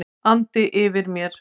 andi yfir mér.